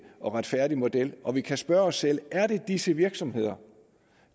og retfærdig model og vi kan spørge os selv er det disse virksomheder